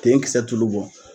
Tenkisɛ tulu bɔ.